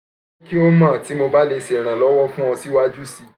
jẹ ki o mọ ti mo ba le ṣe iranlọwọ fun ọ siwaju sii siwaju sii